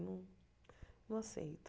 Eu não aceito.